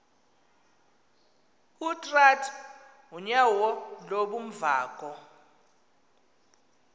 utrath unyauo lubunvoko